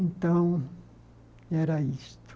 Então, era isto.